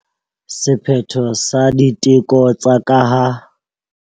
Sephetho sa diteko tsa ka ha.